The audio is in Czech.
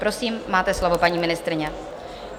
Prosím, máte slovo, paní ministryně.